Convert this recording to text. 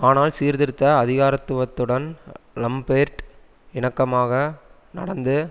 ஆனால் சீர்திருத்த அதிகாரத்துவத்துடன் லம்பேர்ட் இணக்கமாக நடந்து